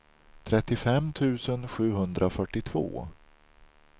trettiofem tusen sjuhundrafyrtiotvå